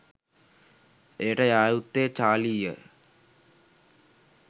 එයට යා යුත්තේ චාලියී.